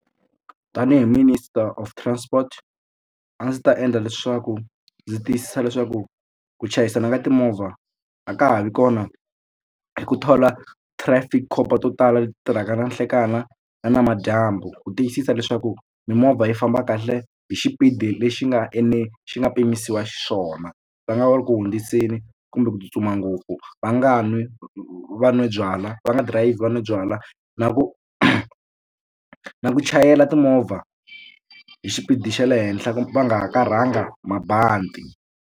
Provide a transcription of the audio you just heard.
Tanihi minister of transport a ndzi ta endla leswaku ndzi tiyisisa leswaku ku chayisana ka timovha a ka ha vi kona hi ku thola trafic cop to tala leti tirhaka na nhlekani na na namadyambu ku tiyisisa leswaku mimovha yi famba kahle hi xipidi lexi nga xi nga pimisiwa xiswona va nga ri ku hundziseli kumbe ku tsutsuma ngopfu va nga nwi va nwa byalwa va nga dirayivhi va no byala na ku na ku chayela timovha hi xipidi xa le henhla va nga hakarhanga mabandi.